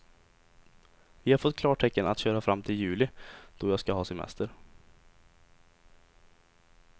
Vi har fått klartecken att köra fram till juli, då jag ska ha semester.